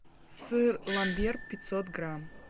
сыр ламбер пятьсот грамм